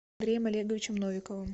андреем олеговичем новиковым